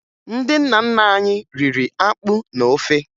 Ndị nna nna anyị riri akpụ na ofe